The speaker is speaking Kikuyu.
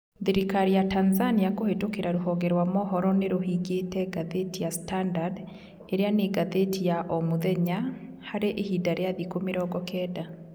Thirikari ya Tanzania kũhĩtũkĩra rũhonge rwa mohoro nĩrũhingĩte ngathĩti ya Standard ĩrĩa nĩ ngathĩti ya o mũthenya , harĩ ihinda rĩa thikũ mĩrongo kenda